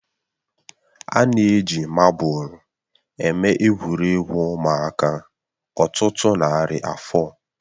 A na-eji mabụl eme egwuregwu ụmụaka ọtụtụ narị afọ